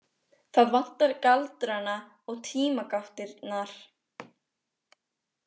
Það vantar galdrana og tímagáttirnar.